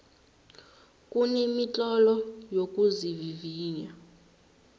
kunemitlolo yokuzivivinya